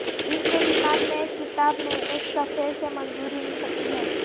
اس کے دماغ میں ایک کتاب میں ایک صفحے سے منظوری مل سکتی ہے